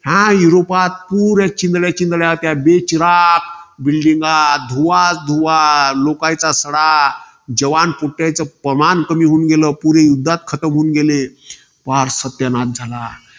ह्या युरोपात पुऱ्या चिंधड्या चिंधड्या पुऱ्या बेचिराख buildings. धुवाच धुवा. लोकायचा सडा. जवान कुठाय तर पमान कमी होऊन गेलं. पुरे युद्धात खातं झाले. पार सत्यानाश झाला.